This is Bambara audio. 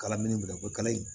Kala minɛn minɛ o kala in